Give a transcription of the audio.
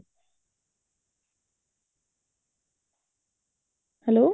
hello